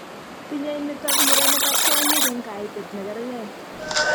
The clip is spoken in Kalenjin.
Tinyei nitok murenik ak kwonyik eng' kaitet nekerkei